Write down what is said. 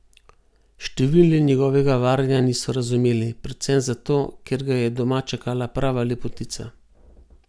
Številni njegovega varanja niso razumeli, predvsem zato, ker ga je doma čakala prava lepotica.